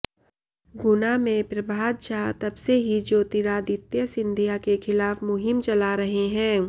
गुना में प्रभात झा तबसे ही ज्योतिरादित्य सिंधिया के खिलाफ मुहिम चला रहे हैं